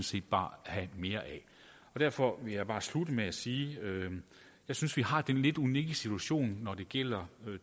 set bare have mere af derfor vil jeg bare slutte med at sige at jeg synes vi har den lidt unikke situation når det gælder